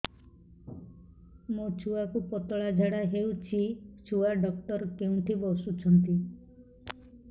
ମୋ ଛୁଆକୁ ପତଳା ଝାଡ଼ା ହେଉଛି ଛୁଆ ଡକ୍ଟର କେଉଁଠି ବସୁଛନ୍ତି